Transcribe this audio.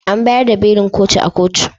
An bayar da belin kotu a kotu.